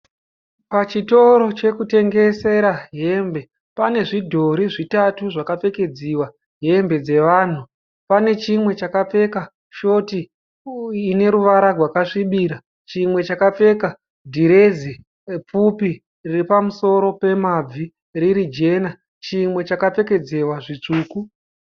Pachitoro chekutengesera hembe panezvidhori zvitatu zvakapfekedziwa hembe dzevanhu. Panechimwe chakapfeka shoti ineruvara rwakasvibira. Chimwe chakapfeka dhiresi pfupi riri pamusoro pemabvi riri jena. Chimwe chakapfekedziwa zvitsvuku.